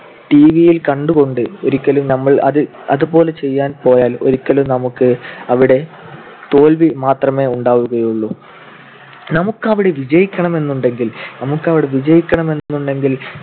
TV യിൽ കണ്ടുകൊണ്ട് ഒരിക്കലും നമ്മൾ അതുപോലെ ചെയ്യാൻ പോയാൽ ഒരിക്കലും നമുക്ക് അവിടെ തോൽവി മാത്രമേ ഉണ്ടാവുകയുള്ളു. നമുക്ക് അവിടെ വിജയിക്കണമെന്നുണ്ടെങ്കിൽ ~ നമുക്ക് അവിടെ വിജയിക്കണമെന്നുണ്ടെങ്കിൽ